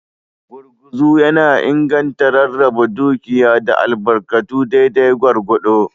Gurguzu yana inganta rarraba dukiya da albarkatu daidai gwargwado.